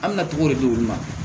An na cogo de di olu ma